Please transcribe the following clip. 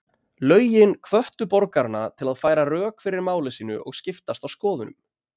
Lögin hvöttu borgarana til að færa rök fyrir máli sínu og skiptast á skoðunum.